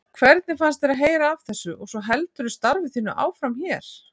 Hvernig fannst þér að heyra af þessu og svo heldurðu starfi þínu áfram hér?